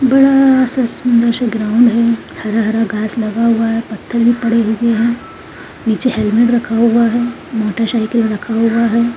बड़ा सा सुंदर सा ग्राउंड है हरा-हरा घास लगा हुआ है पत्थर भी पड़े हुए हैं नीचे हेल्मेट रखा हुआ है मोटर-साइकिल रखा हुआ है।